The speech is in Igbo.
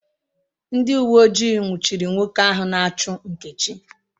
Ndị uwe ojii nwụchiri nwoke ahụ na-achụ Nkechi